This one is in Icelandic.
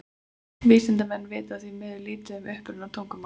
Vísindamenn vita því miður lítið um uppruna tungumálsins.